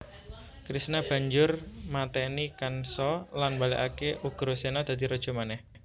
Krishna banjur matèni kansa lan mbalèkaké Ugraséna dadi raja manèh